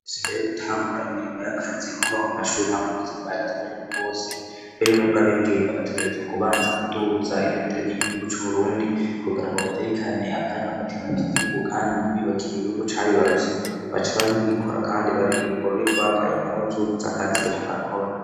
fise imbere y gutangura imirimo y'akazi guhaba ku mashuri hab bbuzi bwa ragibw reko bwose mbere n'ubwo abigenga bategerezwa kubanza kuduza ibendere ry'igihugu c'ubrundi kugira ngo bateri kane akarangamutima c'igihugu kandi nibibakirwe igihugu cabibaruse baca babikora kandi baririmburr bambaye impunzu z'akazi rbarakora